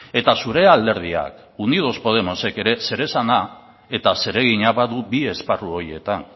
eta zure alderdiak unidos podemosek ere zeresana eta zeregina badu bi esparru horietan